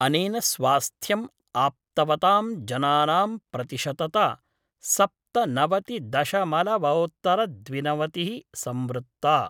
अनेन स्वास्थ्यम् आप्तवतां जनानां प्रतिशतता सप्तनवतिदशमलवोत्तरद्विनवमिति: संवृत्ता।